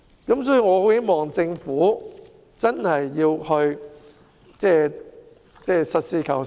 因此，我很希望政府實事求是。